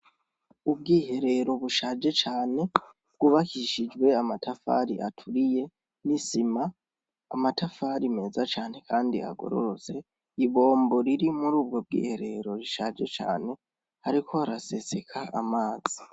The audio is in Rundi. Ubwiherero bushaje cane, bwubakishijwe amatafari aturiye n'isima, amatafari meza cane kandi agororotse, ibombo riri muri ubwo bwiherero , rishaje cane, hariko harasesekara amazi.